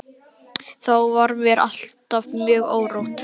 Þá var mér alltaf mjög órótt.